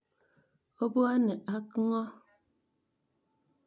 Opwone ak ng'o?